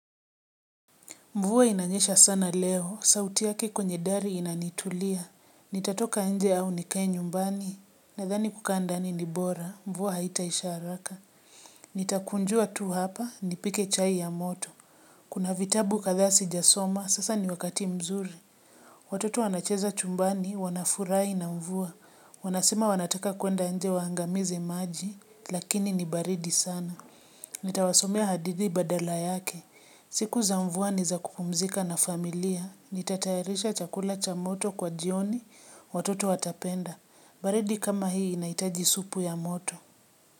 Mvua inanyesha sana leo sauti yake kwenye dari inanitulia. Nitatoka nje au nikae nyumbani, nadhani kukaa ndani ni bora, mvua haitaisha haraka. Nitakunjua tu hapa, nipike chai ya moto. Kuna vitabu kadhaa sijasoma sasa ni wakati mzuri. Watoto wanacheza chumbani wanafurahi na mvua. Wanasema wanataka kuenda inje waangamize maji lakini ni baridi sana. Nitawasomea hadithi badala yake. Siku za mvua ni za kupumzika na familia. Nitatayarisha chakula cha moto kwa jioni watoto watapenda. Baridi kama hii inahitaji supu ya moto.